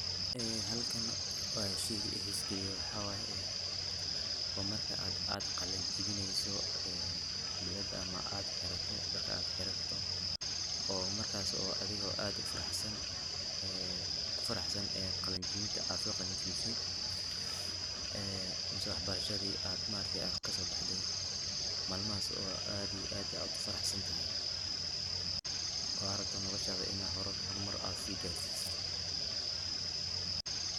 Ee halkan wa shayga i xiisa galiya waxaa waye waa marka aad qalin jabineyso ee bilad ama aad xirato dharka aad xirato oo markas oo adiga oo aad u faraxsan ku faraxsan ee qalinjabinta aad so qalinjabise ee mise waxbarashadi aad ma aragtay aad kasobaxday malmahas oo aadi iyo aad u faraxsanatahy oo aa rabto nolashada ina a horumar si gaarsiso.